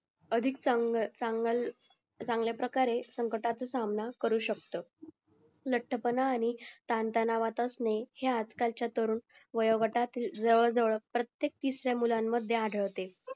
अधिक अधिक चांगल्या प्रकारे संकटातून सामना करू शकतो लटपणा आणि ताणतणावात असणे हे आज कालच्या तरुण वयात गटात जवळजवळ प्रत्येक तिसऱ्यां मुलांमध्ये आढळते